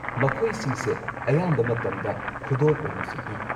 ꯃꯈꯣꯏꯁꯤꯡꯁꯦ ꯑꯌꯥꯝꯕ ꯃꯇꯝꯗ ꯈꯨꯗꯣꯜ ꯑꯣꯏꯅꯁꯨ ꯄꯤ꯫